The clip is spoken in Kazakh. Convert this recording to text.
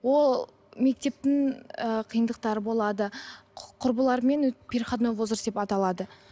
ол мектептің ы қиындықтары болады құрбылармен переходной возраст деп аталады